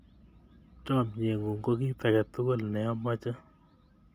Chamyengung ko kit age tugul ne amache